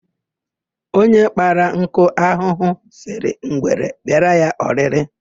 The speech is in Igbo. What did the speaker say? Onye kpara nkụ ahụhụ, sịrị ngwere bịara ya oriri.